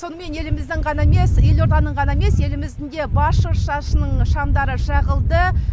сонымен еліміздің ғана емес елорданың ғана емес еліміздің де бас шыршасының шамдары жағылды